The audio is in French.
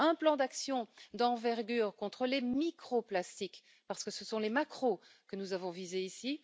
un plan d'action d'envergure contre les microplastiques, parce que ce sont les macroplastiques que nous avons visés